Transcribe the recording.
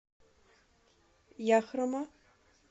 яхрома